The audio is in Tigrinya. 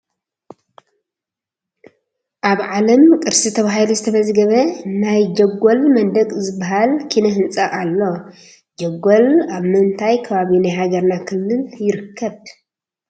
ኣብ ዓለም ቅርሲ ተባሂሉ ዝተመዝገበ ናይ ጀጐል መንደቕ ዝበሃል ኪነ ህንፃ ኣሎ፡፡ ጀጐል ኣብ ምንታይ ከባቢ ናይ ሃገርና ክልል ይርከብ?